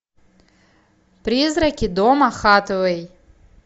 призраки дома хатэвэй